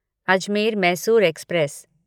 Ajmer Mysore express